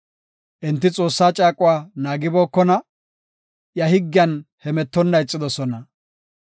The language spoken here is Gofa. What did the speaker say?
Enti Xoossaa caaquwa naagibookona; iya higgiyan hemetonna ixidosona.